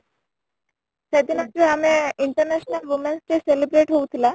ସେଦିନ ଯୋଉ ଆମେ international women 's day celebrate ହଉ ଥିଲା